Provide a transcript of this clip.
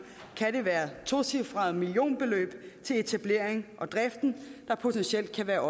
kan det være tocifrede millionbeløb til etableringen og driften der potentielt kan være